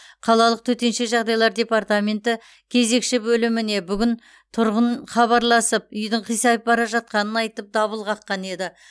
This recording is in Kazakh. қалалық төтенше жағдайлар департаменті кезекші бөліміне бүгін тұрғын хабарласып үйдің қисайып бара жатқанын айтып дабыл қаққан еді